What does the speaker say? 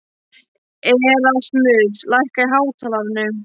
Erasmus, lækkaðu í hátalaranum.